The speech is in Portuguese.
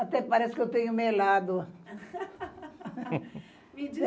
Até parece que eu tenho melado.